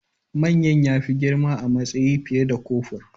Manyan ya fi girma a matsayi fiye da kofur